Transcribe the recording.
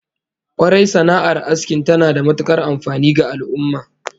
Kwarai, sana'ar asking tana da matukar amfani ga al'ummah